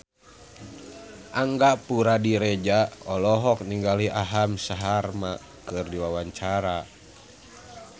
Angga Puradiredja olohok ningali Aham Sharma keur diwawancara